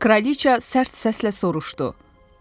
Kraliç sərt səslə soruşdu: Bu kimdir?